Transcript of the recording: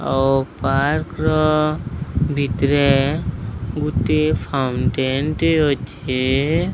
ଆଉ ପାର୍କ ର ଭିତରେ ଗୁଟିଏ ଫାଉଣ୍ଟେନ୍ ଟେ ଅଛେ।